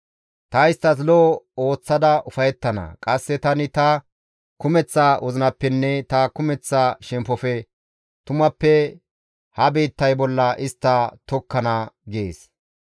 Ta isttas lo7o ooththada ufayettana; qasse tani ta kumeththa wozinappenne ta kumeththa shemppofe tumappe ha biittay bolla istta tokkana» gees.